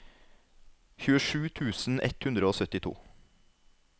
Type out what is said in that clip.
tjuesju tusen ett hundre og syttito